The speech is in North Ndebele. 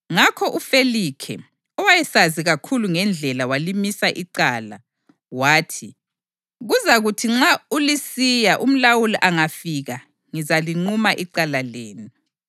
Ngakho uFelikhe, owayesazi kakhulu ngeNdlela walimisa icala. Wathi, “Kuzakuthi nxa uLisiya umlawuli angafika ngizaliquma icala lenu.”